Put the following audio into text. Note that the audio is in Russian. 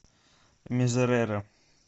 мизерере